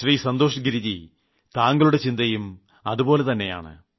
ശ്രീ സന്തോഷ് ഗിരിജി താങ്കളുടെ ചിന്തയും അതുപോലെ തന്നെയാണ്